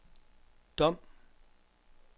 Dom